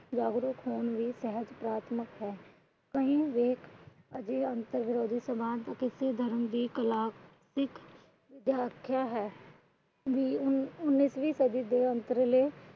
ਜਾਗਰੂਕ ਹੋਣ ਦੀ ਸਹਿਜ ਪ੍ਰਾਥਮਿਕਤਾ